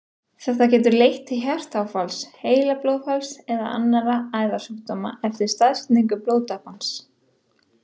Þetta getur leitt til hjartaáfalls, heilablóðfalls eða annarra æðasjúkdóma eftir staðsetningu blóðtappans.